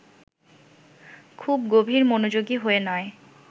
খুব গভীর মনোযোগী হয়ে নয়